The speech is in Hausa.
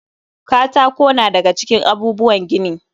Katako na da ga cikin abubuwan gini.